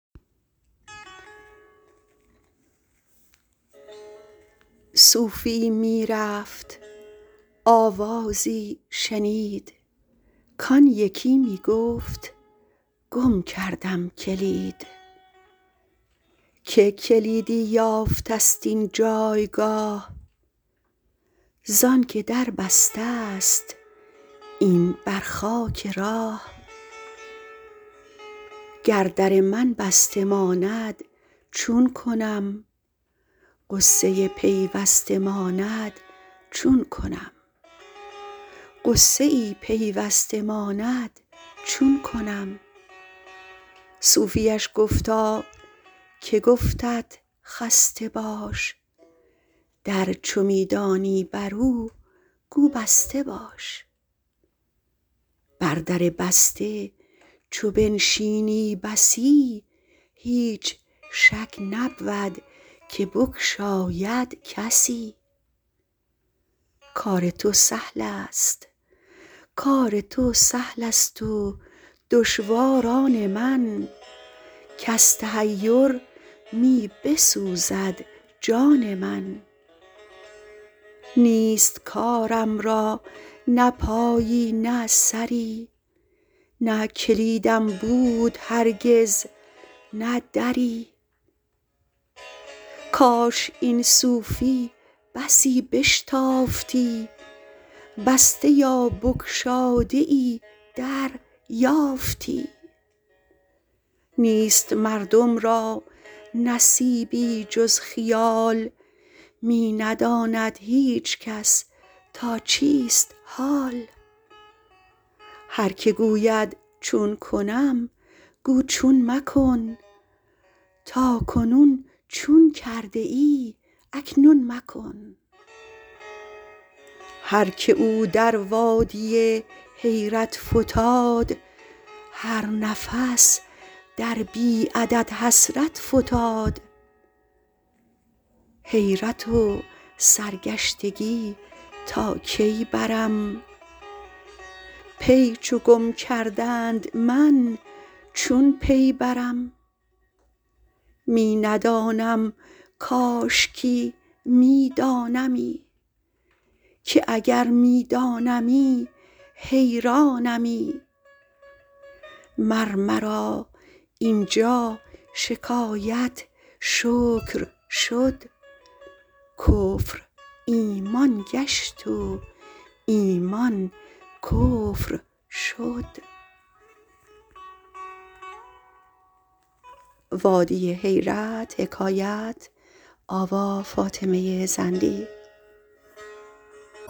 صوفیی می رفت آوازی شنید کان یکی می گفت گم کردم کلید که کلیدی یافتست این جایگاه زانک دربستست این بر خاک راه گر در من بسته ماند چون کنم غصه پیوسته ماند چون کنم صوفیش گفتاکه گفتت خسته باش در چو می دانی برو گو بسته باش بر در بسته چو بنشینی بسی هیچ شک نبود که بگشاید کسی کار تو سهل است و دشوار آن من کز تحیر می بسوزد جان من نیست کارم را نه پایی نه سری نه کلیدم بود هرگز نه دری کاش این صوفی بسی بشتافتی بسته یا بگشاده ای در یافتی نیست مردم را نصیبی جز خیال می نداند هیچ کس تا چیست حال هر که گوید چون کنم گو چون مکن تا کنون چون کرده ای اکنون مکن هر که او در وادی حیرت فتاد هر نفس در بی عدد حسرت فتاد حیرت و سرگشتگی تا کی برم پی چو گم کردند من چون پی برم می ندانم کاشکی می دانمی که اگر می دانمی حیرانمی مر مرا اینجا شکایت شکر شد کفر ایمان گشت و ایمان کفر شد